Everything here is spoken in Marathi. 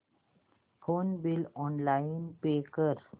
फोन बिल ऑनलाइन पे कर